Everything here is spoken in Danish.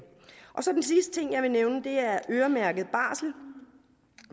så til den sidste ting jeg vil nævne det er øremærket barsel